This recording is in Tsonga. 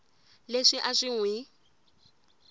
leswi a swi n wi